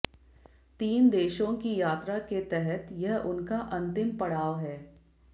तीन देशों की यात्रा के तहत यह उनका अंतिम पड़ाव है